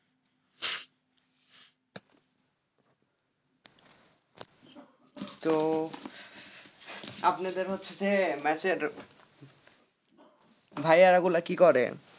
তো আপনাদের হচ্ছে মেসে ভাইয়া গুলা কি করে?